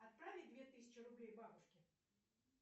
отправить две тысячи рублей бабушке